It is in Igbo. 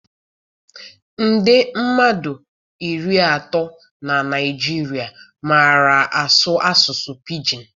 Nde mmadụ iri atọ na Naịjirịa màrà asụ asụsụ Pijin.